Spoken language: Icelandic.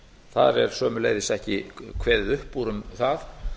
þar er sömuleiðis ekki kveðið upp úr um það